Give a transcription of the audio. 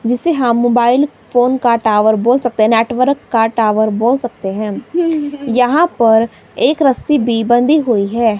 जिसे हम mobile phone का टावर बोल सकते हैं नेटवर्क का टावर बोल सकते हैं यहां पर एक रस्सी भी बंधी हुई है।